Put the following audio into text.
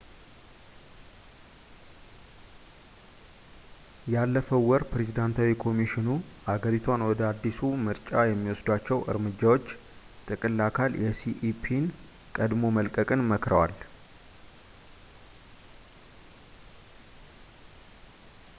ያለፈው ወር ፕሬዝዳንታዊ ኮሚሽኑ ሀገሪቷን ወደ አዲሱ ምርጫ የሚወሰዷቸው እርምጃዎች ጥቅል አካል የሲኢፒን ቀድሞ መልቀቅን መክረዋል